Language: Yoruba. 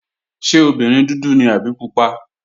Ṣé obìnrin dúdú ni àbí pupa?